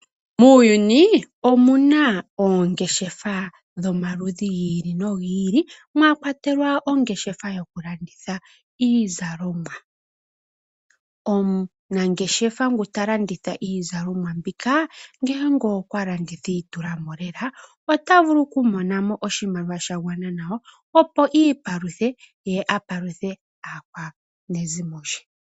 Muuyuni omuna oongeshefa dhomaludhi gi ili no gi ili mwakwatelwa ongeshafa yokulanditha iizalomwa. Omunangeshefa nguta landitha iizalomwa mbika ngele okwalanditha iitulamo lela ota vulu oku monamo oshimaliwa shagwana nawa opo iipaluthe ye apaluthe aakwanezimo lye.